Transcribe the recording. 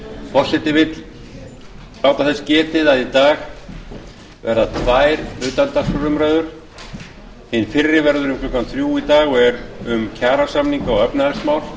forseti vill láta þess að í dag verða tvær utandagskrárumræður hin fyrri verður um klukkan þrjú í dag og er um kjarasamninga og efnahagsmál